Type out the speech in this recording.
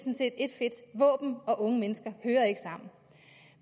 fedt våben og unge mennesker hører ikke sammen